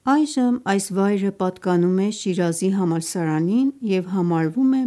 Այժմ այս վայրը պատկանում է Շիրազի համալսարանին և համարվում է